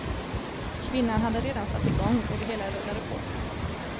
Kvinnan hade redan satt igång och det hela rullade på.